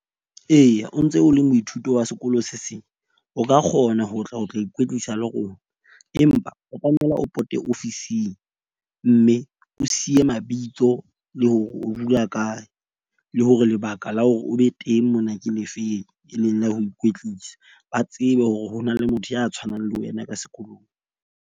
Eya, o ntse o le moithuto wa sekolo se seng, o ka kgona ho tla o tla ikwetlisa le rona. Empa o tlamela o pote ofising. Mme o siye mabitso le hore o dula kae le hore lebaka la hore o be teng mona ke lefeng, e leng ya ho ikwetlisa. Ba tsebe hore ho na le motho ya tshwanang le wena ka sekolong.